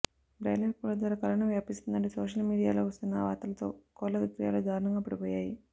broiler కోళ్ల ద్వారా corona వ్యాపిస్తుందంటూ సోషల్ మీడి యా లో వస్తున్న వార్తలతో కోళ్ల విక్రయాలు దారుణంగా పడిపోయాయి